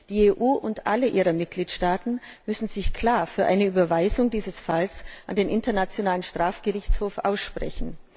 Die EU und alle ihre Mitgliedstaaten müssen sich klar für eine Überweisung dieses Falls an den Internationalen Strafgerichtshof aussprechen.